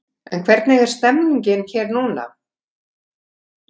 En hvernig er stemmningin hér núna?